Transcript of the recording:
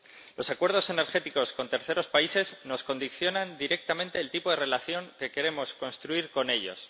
Los acuerdos energéticos con terceros países condicionan directamente el tipo de relación que queremos construir con ellos.